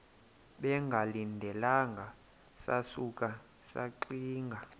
bengalindelanga sasuka saxinga